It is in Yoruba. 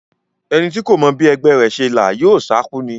Ẹni tí kò mọ bí ẹgbẹ́ rẹ̀ ṣe là yóò sákú ni.